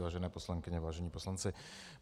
Vážené poslankyně, vážení poslanci.